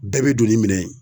Bɛɛ be don ni minɛn ye.